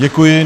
Děkuji.